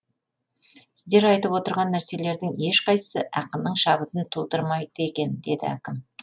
сіздер айтып отырған нәрселердің ешқайсысы ақынның шабытын тудырмайды екен деді әкім